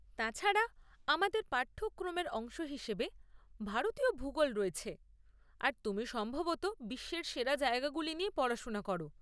তাছাড়া, আমাদের পাঠ্যক্রমের অংশ হিসেবে ভারতীয় ভূগোল রয়েছে আর তুমি সম্ভবত বিশ্বের সেরা জায়গাগুলি নিয়ে পড়াশোনা করো!